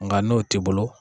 Nka n'o tɛ bolo.